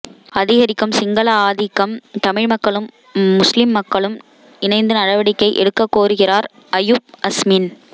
அதிகரிக்கும் சிங்கள ஆதிக்கம் தமிழ் மக்களும் முஸ்லிம் மக்களும் இணைந்து நடவடிக்கை எடுக்ககோருகிறார் அயூப் அஸ்மின்